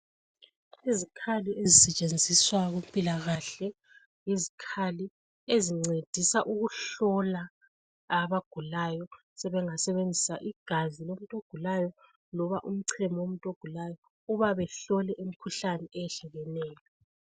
Izikhali ezisetshenziswa kumpilakahle yizikhali ezincedisa ukuhlola abagulayo sebengasebenzisa igazi lebagulayo loba umcemo womuntu ogulayo uma befika behlole imkhuhlane ehlukeneyo.